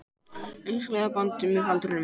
Einstaklingar batni með aldrinum